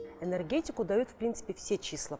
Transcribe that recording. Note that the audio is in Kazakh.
энергетику дают в принципе все числа